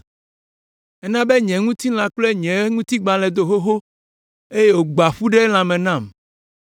Ena be nye ŋutilã kple nye ŋutigbalẽ do xoxo eye wògbã ƒu ɖe lãme nam.